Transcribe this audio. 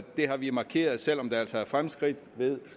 har vi markeret selv om der altså er fremskridt ved